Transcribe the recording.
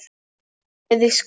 á beði Skútu